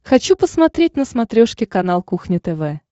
хочу посмотреть на смотрешке канал кухня тв